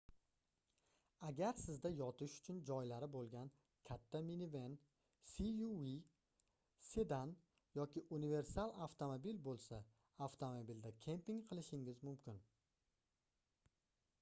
agar sizda yotish uchun joylari boʻlgan katta miniven suv sedan yoki unversal avtomobil boʻlsa avtomobilda kemping qilishingiz mumkin